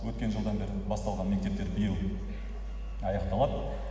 өткен жылдан бері басталған мектептер биыл аяқталады